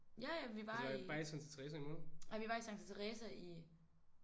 Ja ja vi var i. Ej vi var i Santa Teresa i